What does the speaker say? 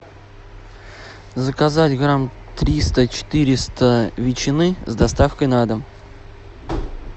заказать грамм триста четыреста ветчины с доставкой на дом